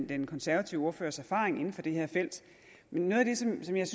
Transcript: den konservative ordførers erfaring inden for det her felt men noget af det som jeg